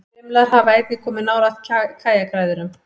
Brimlar hafa einnig komið nálægt kajakræðurum.